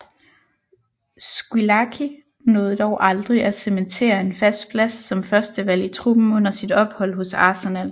Squillaci nåede dog aldrig at cementere en fast plads som førstevalg i truppen under sit ophold hos Arsenal